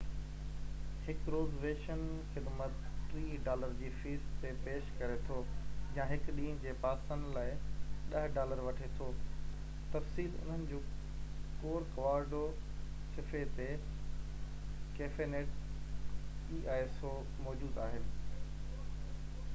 cafenet el so هڪ reservation خدمت 30 dollar جي فيس تي پيش ڪري ٿو يا هڪ ڏينهن جي پاسن لاءِ 10 ڊالر وٺي ٿو تفصيل انهن جي ڪورڪواڊو صفحي تي موجود آهن